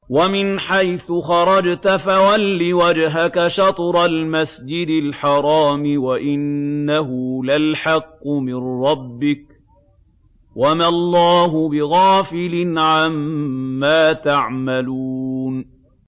وَمِنْ حَيْثُ خَرَجْتَ فَوَلِّ وَجْهَكَ شَطْرَ الْمَسْجِدِ الْحَرَامِ ۖ وَإِنَّهُ لَلْحَقُّ مِن رَّبِّكَ ۗ وَمَا اللَّهُ بِغَافِلٍ عَمَّا تَعْمَلُونَ